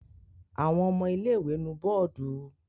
Àwọn ọmọ ilé-ìwé nu bọ́ọ́dù?